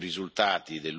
di Dublino.